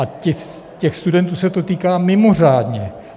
A těch studentů se to týká mimořádně.